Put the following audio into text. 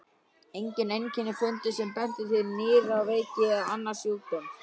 Engin einkenni fundust sem bentu til nýrnaveiki eða annars sjúkdóms.